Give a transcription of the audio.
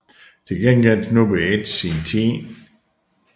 Til gengæld snuppede Edge sin 10